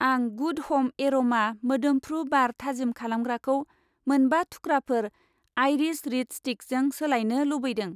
आं गुड ह'म एर'मा मोदोम्फ्रु बार थाजिम खालामग्राखौ मोनबा थुख्राफोर आइरिस रिड स्टिकजों सोलायनो लुबैदों।